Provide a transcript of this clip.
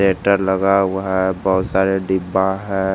लगा हुआ है बहुत सारे डिब्बा हैं।